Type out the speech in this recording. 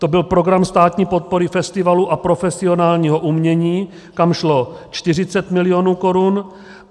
To byl program státní podpory festivalů a profesionálního umění, kam šlo 40 mil. korun.